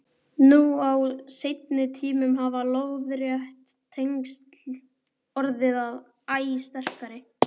Nú á seinni tímum hafa lóðrétt tengsl orðið æ sterkari.